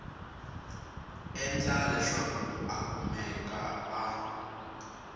endla leswaku a kumeka a